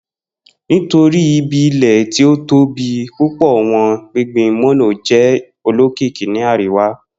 Nitori ibi-ilẹ ti o tobi pupọ wọn, gbingbin mono jẹ olokiki ni ariwa